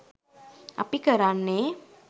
අපි කරන්නේ